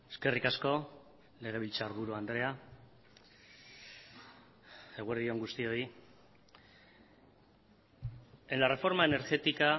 eskerrik asko legebiltzarburu andrea eguerdi on guztioi en la reforma energética